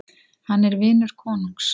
Hann er vinur konungs.